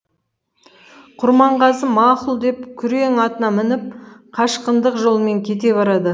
құрманғазы мақұл деп күрең атына мініп қашқындық жолмен кете барады